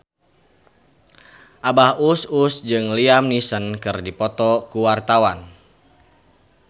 Abah Us Us jeung Liam Neeson keur dipoto ku wartawan